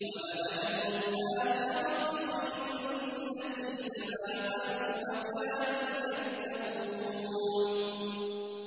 وَلَأَجْرُ الْآخِرَةِ خَيْرٌ لِّلَّذِينَ آمَنُوا وَكَانُوا يَتَّقُونَ